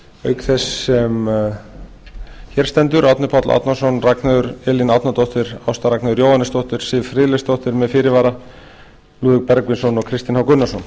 auk þess sem hér stendur árni páll árnason ragnheiður elín árnadóttir ásta ragnheiður jóhannesdóttir siv friðleifsdóttir með fyrirvara lúðvík bergvinsson og kristinn h gunnarsson